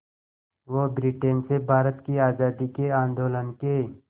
वो ब्रिटेन से भारत की आज़ादी के आंदोलन के